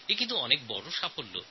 কিন্তু এটা একটা বড় সাফল্য